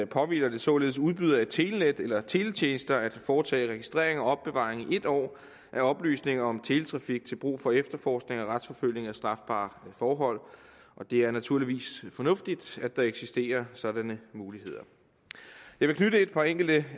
påhviler det således udbydere af telenet eller teletjenester at foretage registrering og opbevaring af oplysninger om teletrafik til brug for efterforskning og retsforfølgning af strafbare forhold og det er naturligvis fornuftigt at der eksisterer sådanne muligheder jeg vil knytte et par enkelte